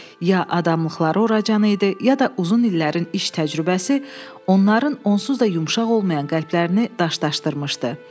Ya adamlıqları o qədər idi, ya da uzun illərin iş təcrübəsi onların onsuz da yumşaq olmayan qəlblərini daşlaşdırmışdı.